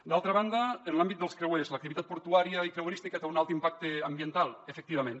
d’altra banda en l’àmbit dels creuers l’activitat portuària i creuerística té un alt impacte ambiental efectivament